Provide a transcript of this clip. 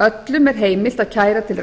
öllum er heimilt að kæra til